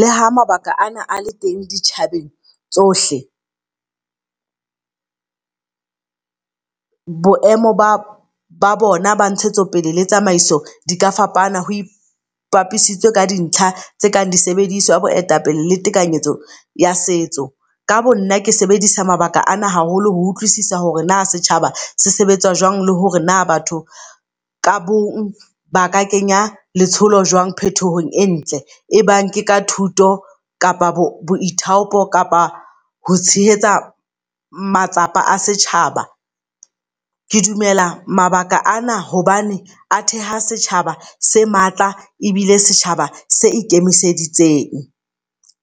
Le ha mabaka ana a le teng di tjhabeng tsohle boemo ba bona ba ntshetsopele le tsamaiso di ka fapana ho ipapisitswe ka di ntlha tse kang di sebediswa, boetapele le tekanyetso ya setso. Ka bo nna ke sebedisa mabaka a na haholo ho utlwisisa hore na setjhaba se sebetsa jwang le hore na batho ka bong ba ka kenya letsholo jwang phethohong e ntle. E bang ke ka thuto kapa bo boithaopo kapa ho tshehetsa matsapa a setjhaba. Ke dumela mabaka ana hobane a theha setjhaba se matla ebile setjhaba se ikemiseditse ng.